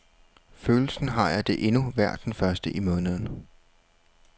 Følelsen har jeg det endnu hver den første i måneden.